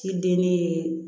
Ciden ne ye